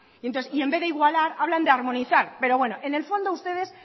y entonces en vez de igualar hablan de armonizar pero bueno en el fondo ustedes